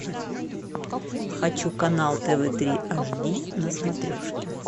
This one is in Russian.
хочу канал тв три аш ди на смотрешке